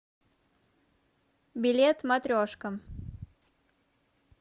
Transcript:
билет матрешка